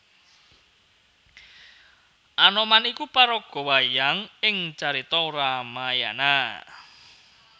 Anoman iku paraga wayang ing carita Ramayana